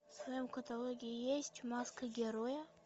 в твоем каталоге есть маска героя